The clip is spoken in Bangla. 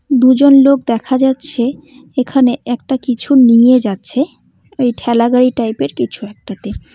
দুজন লোক দেখা যাচ্ছে এখানে একটা কিছু নিয়ে যাচ্ছে ওই ঠেলাগাড়ি টাইপের কিছু একটাতে।